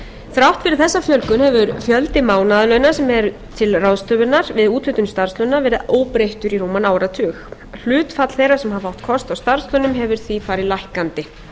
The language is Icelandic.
þrátt fyrir þessa fjölgun hefur fjöldi mánaðarlauna sem er til ráðstöfunar með úthluta starfslauna verið óbreyttur í rúman áratug hlutfall þeirra sem hafa átt kost á starfslaunum hefur því farið lækkandi